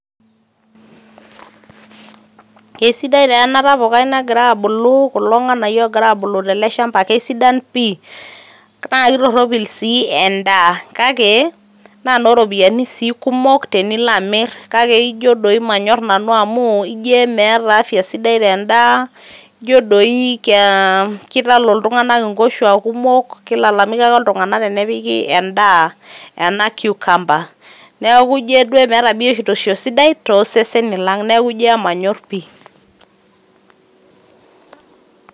kesiadain taa ena tapukai nagira abulu kulo nganayio gira abulu tele shamba kisadan pi ,naa kitoropil sii endaa kake inoo ropiyianii sii kumok tenilo amir kake ijo emanyor nanu amu ijo emeeta [cs[ afya sidai tendaa. ijo doi ee kitalo iltunganak inkoshuaak kumok. kilalamika ake intunanak tenepiki endaa ena cucumber .